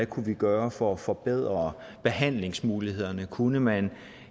kunne gøre for at forbedre behandlingsmulighederne kunne man